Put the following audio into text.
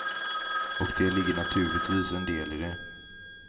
Och det ligger naturligtvis en del i det.